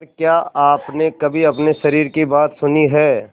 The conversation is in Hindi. पर क्या आपने कभी अपने शरीर की बात सुनी है